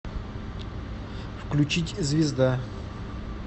включить звезда